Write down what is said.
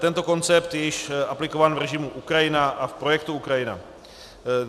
Tento koncept je již aplikován v režimu Ukrajina a v projektu Ukrajina.